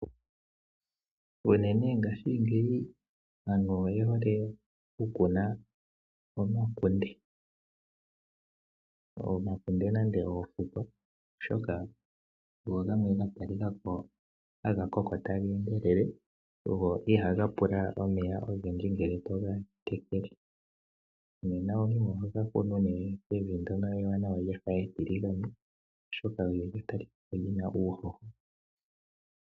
Unene ngashingeyi aantu oye hole okukuna omakunde. Omakunde nenge oofukwa oshika ogongamwe ga talikako haga endelele, na ihaga pula omeya ogendji ngele to ga tekele. Nena omuntu oho ga kunu nee mevi ndono ewanawa lyafa etiligane oshoka olyo lya talikako lyina uuhoho.